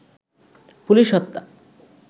police হত্যা